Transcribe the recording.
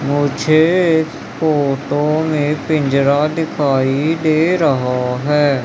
मुझे इस फोटो में पिंजरा दिखाई दे रहा हैं।